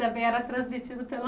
Também era transmitido pelo